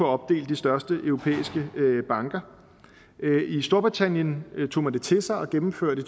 opdele de største europæiske banker i storbritannien tog man det til sig og gennemførte